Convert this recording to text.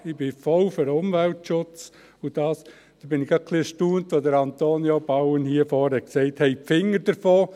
Ich bin voll für den Umweltschutz, und da war ich gerade ein wenig erstaunt, als Antonio Bauen hier vorne sagte: «Lassen Sie die Finger davon.»